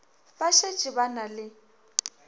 ba šetše ba na le